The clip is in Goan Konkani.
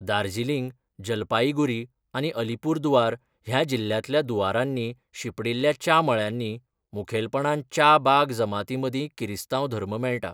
दार्जिलिंग, जलपाईगुरी आनी अलीपुरदुआर ह्या जिल्ह्यांतल्या दूअरांनी शिंपडिल्ल्या च्या मळ्यांनी मुखेलपणान च्या बाग जमातींमदीं किरिस्तांव धर्म मेळटा.